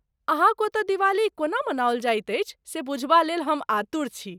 अहाँक ओतऽ दिवाली कोना मनाओल जायत अछि से बुझबा लेल हम आतुर छी।